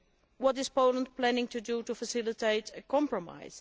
What is Poland planning to do to facilitate a compromise?